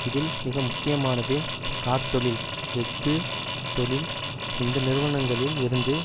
இதில் மிக முக்கியமானது கார்த்தொழில் எஃகுத் தொழில் இந்த நிறுவனங்களில் இருந்து